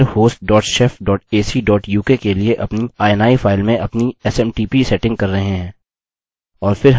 okay हम मूलतः mail host dot shef dot ac dot uk के लिए अपनी ini फाइल में अपनी smtp सेटिंग कर रहे हैं